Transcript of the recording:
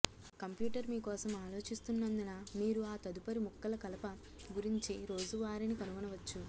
computer మీ కోసం ఆలోచిస్తున్నందున మీరు ఆ తదుపరి ముక్కల కలప గురించి రోజువారీని కనుగొనవచ్చు